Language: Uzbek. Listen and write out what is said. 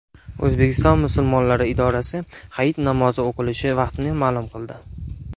O‘zbekiston Musulmonlari idorasi hayit namozi o‘qilishi vaqtini ma’lum qildi.